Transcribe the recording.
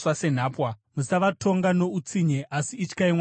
Musavatonga neutsinye, asi ityai Mwari wenyu.